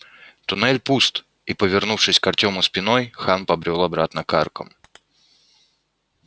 туннель пуст и повернувшись к артёму спиной хан побрёл обратно к аркам